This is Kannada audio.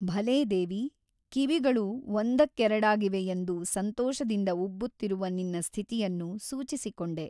ಭಲೇ ದೇವಿ ಕಿವಿಗಳು ಒಂದಕ್ಕೆರಡಾಗಿವೆಯೆಂದು ಸಂತೋಷದಿಂದ ಉಬ್ಬುತ್ತಿರುವ ನಿನ್ನ ಸ್ಥಿತಿಯನ್ನು ಸೂಚಿಸಿಕೊಂಡೆ.